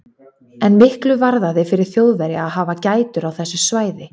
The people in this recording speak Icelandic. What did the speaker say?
En miklu varðaði fyrir Þjóðverja að hafa gætur á þessu svæði.